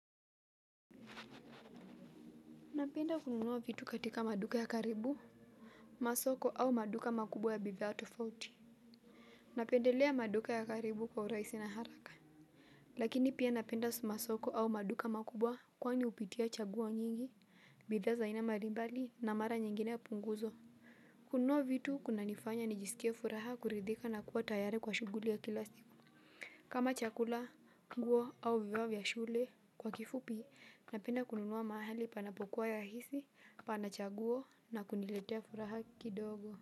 Napenda kununua vitu katika maduka ya karibu, masoko au maduka makubwa ya bidhaa tofauti. Napendelea maduka ya karibu kwa urahisi na haraka. Lakini pia napenda sumasoko au maduka makubwa kwani hupitia chaguo nyingi, bidhaa za aina mbalimbali na mara nyingine punguzo. Kununuwa vitu kuna nifanya nijisikie furaha kuridhika na kuwa tayari kwa shughuli ya kila siku. Kama chakula, nguo au vio vya shule. Kwa kifupi napenda kununua mahali panapo kuwa rahisi, panachaguo na kuniletea furaha kidogo.